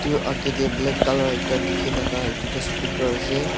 etu age teh black colour ekta dikhi thaka etu tu speaker ase.